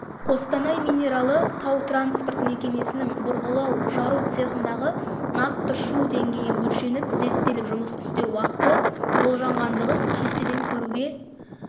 қостанай минералы тау-транспорт мекемесінің бұрғылау жару цехындағы нақты шу деңгейі өлшеніп зерттеліп жұмыс істеу уақыты болжанғандығын кестеден көруге